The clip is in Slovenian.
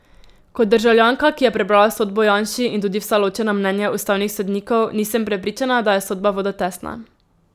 Kot državljanka, ki je prebrala sodbo Janši in tudi vsa ločena mnenja ustavnih sodnikov, nisem prepričana, da je sodba vodotesna.